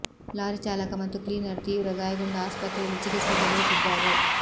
lorry ಚಾಲಕ ಮತ್ತು cleaner ತೀವ್ರ ಗಾಯಗೊಂಡು ಆಸ್ಪತ್ರೆಯಲ್ಲಿ ಚಿಕಿತ್ಸೆ ಪಡೆಯುತ್ತಿದ್ದಾರೆ